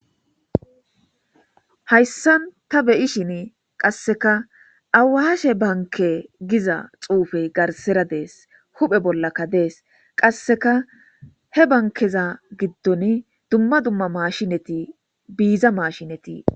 Hayssan ta beyishin qasseka awaashe banke giza xuufey garsira dees huphe bollaka dees qasseka he bankeza giddon dumma dumma maashineti biiza maashineti.